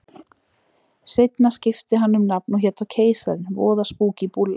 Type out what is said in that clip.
Seinna skipti hann um nafn og hét þá Keisarinn, voða spúkí búlla.